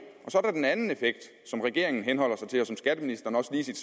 så er der den anden effekt som regeringen henholder sig til og som skatteministeren også i sit